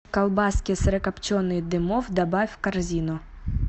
колбаски сырокопченые дымов добавь в корзину